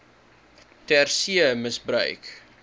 ter see misbruik